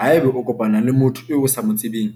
Haeba o lo kopana le motho eo o sa mo tsebeng,